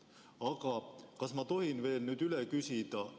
Aga kas ma tohin veel üle küsida?